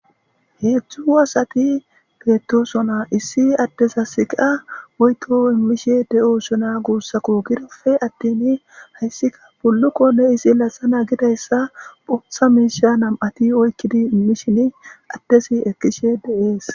Hedzdzu asati beetosona issi addezas iqqa woytto immishe de'ossoona guussakko gidofe attin hayssika bullukonne izi laxana gidayssa boththa miisha nam'ati oykkidi immishin addezi ekkishe de'ees